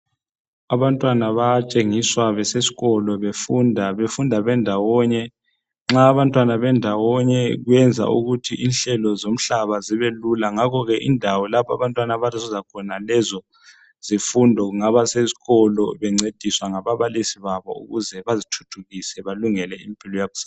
Abantwana bayatshengiswa beseskolo befunda ,befunda bendawonye. Nxa abantwana bendawonye ,kwenza ukuthi inhlelo zomhlaba zibelula ngakho ke indawo lapha abantwana abazuza khona lezo zifundo kungaba sesikolo bencediswa ngababalisi babo ukuze bazithuthukise balungele impilo yakusasa.